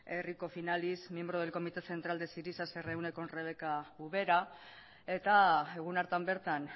errikos finalis miembro del comité central de syriza se reúne con rebeca ubera eta egun hartan bertan